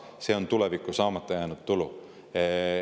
See on tuleviku saamata jäänud tulu.